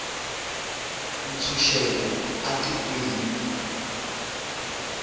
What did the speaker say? ntshunxeko a tikweni